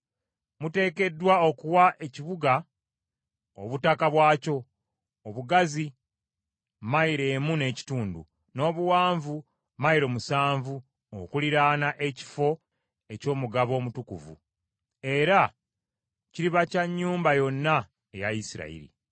“ ‘Muteekeddwa okuwa ekibuga obutaka bwakyo: obugazi mayilo emu n’ekitundu, n’obuwanvu mayilo musanvu okuliraana ekifo eky’omugabo omutukuvu, era kiriba kya nnyumba yonna eya Isirayiri.’